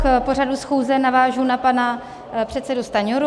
K pořadu schůze navážu na pana předsedu Stanjuru.